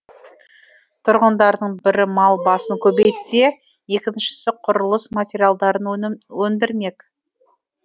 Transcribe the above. тұрғындардың бірі мал басын көбейтсе екіншісі құрылыс материалдарын өндірмек